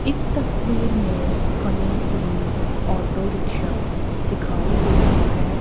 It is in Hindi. इस तस्वीर में हमें एक ऑटो रिक्शा दिखाई दे रहा हैं।